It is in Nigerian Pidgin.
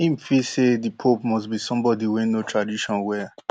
im feel say di pope must be somebody wey know tradition well